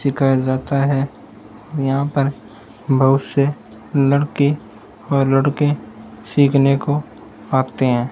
सिखाया जाता हैं और यहाँ पर बहुत से लड़के और लड़की सीखने को आते हैं।